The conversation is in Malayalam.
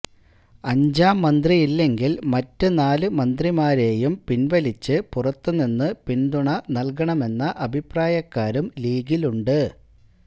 അഞ്ചാം മന്ത്രിയില്ലെങ്കില് മറ്റ് നാല് മന്ത്രിമാരെയും പിന്വലിച്ച് പുറത്തു നിന്ന് പിന്തുണ നല്കണമെന്ന അഭിപ്രായക്കാരും ലീഗിലുണ്ട്